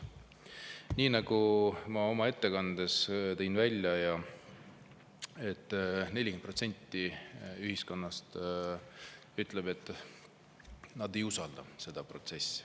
Nii nagu ma oma ettekandes tõin välja, 40% ühiskonnast ütleb, et ei usalda seda protsessi.